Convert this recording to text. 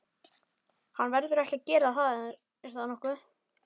Hann verður ekki að gera það er það nokkuð?